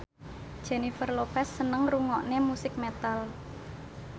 Jennifer Lopez seneng ngrungokne musik metal